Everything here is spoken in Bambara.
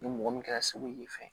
Ni mɔgɔ min kɛra segu y'i fɛ